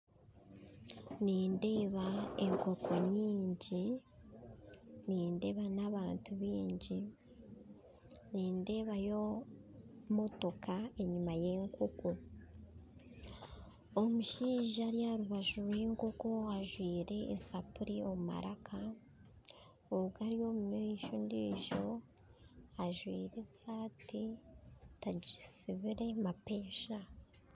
Nindeeba enkoko nyingi nindeeba n'abantu bingi nindeebayo motoka enyuma y'enkoko, omushaija ari aharubaju rw'enkoko ajwaire esapuri omumaraka ogu ari omumaisho ondijo ajwaire esati tagisibire mapeesa